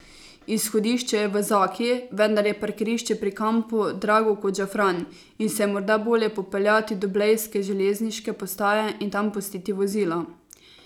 Izhodišče je v Zaki, vendar je parkirišče pri kampu drago kot žafran in se je morda bolje popeljati do blejske železniške postaje in tam pustiti vozilo.